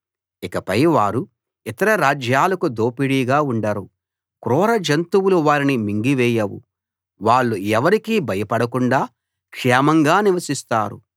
ఇకపై వారు ఇతర రాజ్యాలకు దోపిడీగా ఉండరు క్రూర జంతువులు వారిని మింగివేయవు వాళ్ళు ఎవరికీ భయపడకుండా క్షేమంగా నివసిస్తారు